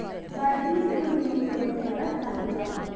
വർഗീസ് കുര്യൻ തുടങ്ങിയവർ സമീപം